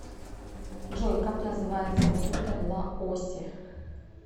джой как называется валюта в лаосе